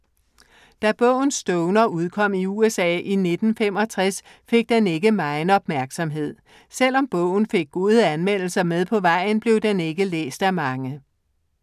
Da bogen Stoner udkom i USA i 1965 fik den ikke megen opmærksomhed. Selvom bogen fik gode anmeldelser med på vejen, blev den ikke læst af mange.